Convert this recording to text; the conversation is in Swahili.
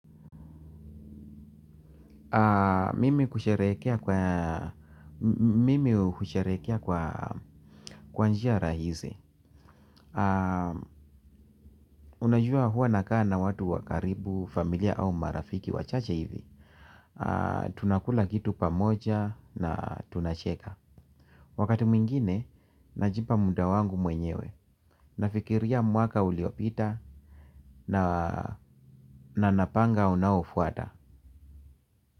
Mimi kusheherekea kwa njia rahisi. Unajua huwa nakaa na watu wa karibu, familia au marafiki wachache hivi tunakula kitu pamoja na tunacheka. Wakati mwingine, najipa muda wangu mwenyewe. Nafikiria mwaka uliopita na na napanga unaofuata.